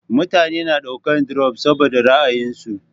Mutane na daukan dirop saboda ra'ayinsu